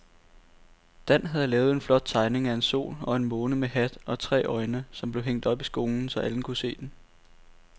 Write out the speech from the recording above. Dan havde lavet en flot tegning af en sol og en måne med hat og tre øjne, som blev hængt op i skolen, så alle kunne se den.